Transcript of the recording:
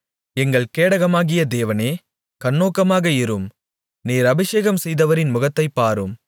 எங்கள் கேடகமாகிய தேவனே கண்ணோக்கமாக இரும் நீர் அபிஷேகம் செய்தவரின் முகத்தைப் பாரும்